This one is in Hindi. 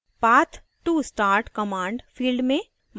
path to start command: field में